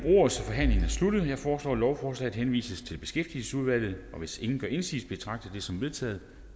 ordet så forhandlingen er sluttet jeg foreslår at lovforslaget henvises til beskæftigelsesudvalget og hvis ingen gør indsigelse betragter jeg det som vedtaget